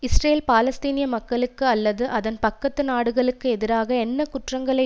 Israel பாலஸ்தீனிய மக்களுக்கு அல்லது அதன் பக்கத்து நாடுகளுக்கு எதிராக என்ன குற்றங்களை